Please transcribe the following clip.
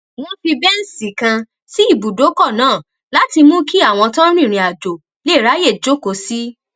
wón fi béǹṣì kan sí ibùdókò náà láti mú kí àwọn tó ń rìnrìnàjò lè ráyè jókòó sí